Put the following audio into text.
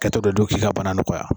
kɛtɔ de do k'i ka bana nɔgɔya.